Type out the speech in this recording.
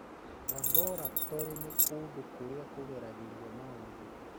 Laboratorĩ nĩ kũndũ kũrĩa kũgeragĩrio maũndũ.